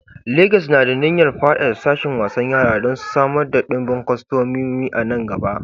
Legas na da niyyar faɗaɗa sashin wasan yara don samar da ɗimbin kwastomomi a nan gaba.